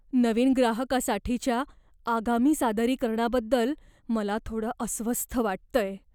नवीन ग्राहकासाठीच्या आगामी सादरीकरणाबद्दल मला थोडं अस्वस्थ वाटतंय.